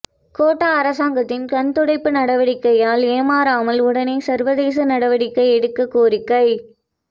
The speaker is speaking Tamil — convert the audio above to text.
கோட்டா அரசாங்கத்தின் கண்துடைப்பு நடவடிக்கையால் ஏமாறாமல் உடனே சர்வதேச நடவடிக்கை எடுக்க கோரிக்கை